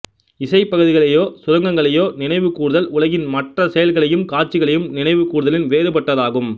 இசைப்பகுதிகளையோ சுரங்களையோ நினைவு கூர்தல் உலகின் மற்ற செயல்களையும் காட்சிகளையும் நினைவு கூர்தலின் வேறுபட்டதாகும்